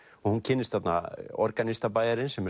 hún kynnist þarna organista bæjarins sem